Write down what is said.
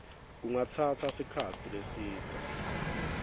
kungatsatsa sikhatsi lesidze